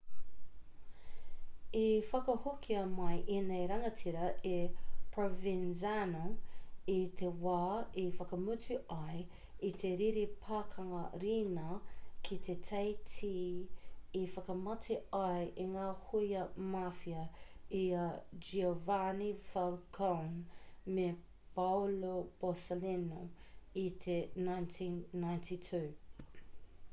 i whakahokia mai ēnei rangatira e provenzano i te wā i whakamutu ai i te riri pakanga riina ki te teiti i whakamate ai i ngā hōia mafia i a giovanni falcone me paolo borsellino i te 1992